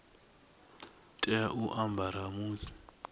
tea u a ambara musi